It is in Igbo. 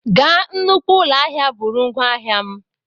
Gaa nnukwu ụlọ ahịa, buru ngwá ahịa m!